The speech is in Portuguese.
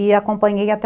e acompanhei até